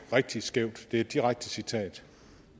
rigtig skævt det er et direkte citat